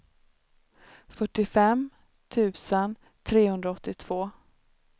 fyrtiofem tusen trehundraåttiotvå